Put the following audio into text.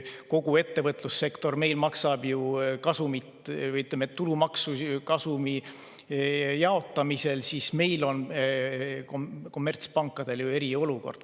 Kogu ettevõtlussektor meil maksab, ütleme, tulumaksu kasumi jaotamisel, aga kommertspankadel on ju eriolukord.